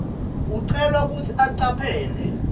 ucelwa kutsi ucaphele